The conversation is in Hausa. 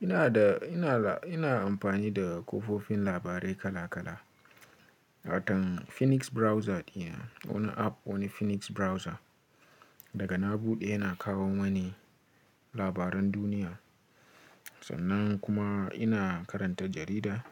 Ina da, ina, ina amfani da ƙofofin labarai kala kala. Watan Phoenix Browser dina, wani app wani Phoenix Browser. Daga na bude ina kawo mani labaran duniya. Sannan kuma ina karanta jarida.